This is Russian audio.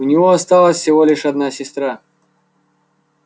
у него осталась всего лишь одна сестра